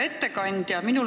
Hea ettekandja!